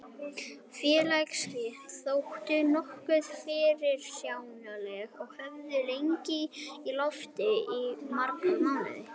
Félagaskiptin þóttu nokkuð fyrirsjáanleg og höfðu legið í loftinu í marga mánuði.